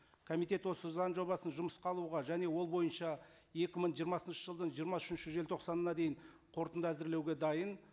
комитет осы заң жобасын жұмысқа алуға және ол бойынша екі мың жиырмасыншы жылдың жиырма үшінші желтоқсанына дейін қорытынды әзірлеуге дайын